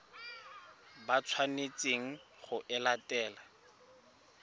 ba tshwanetseng go e latela